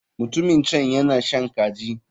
Mutumin can yana shan kaji.